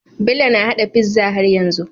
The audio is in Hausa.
Bello na hada pizza har yanzu